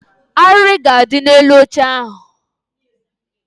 Arịrị ga-adị n'elu oche ahụ